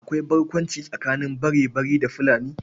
Akwai barkwanci tsakanin Barebari da Fulani.